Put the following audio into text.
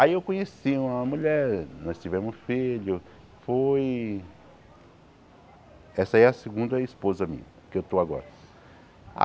Aí eu conheci uma mulher, nós tivemos um filho, foi... Essa aí é a segunda esposa minha, que eu estou agora.